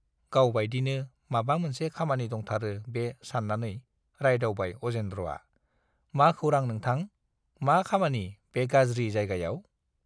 गाव बाइदिनो माबा मोनसे खामानि दंथारो बे सान्नानै रायदावबाय अजेन्द्रआ, मा खौरां नोंथां, मा खामानि बे गाज्रि जायगायाव?